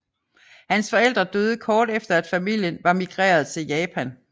Hans forældre døde kort efter at familien var migreret til Japan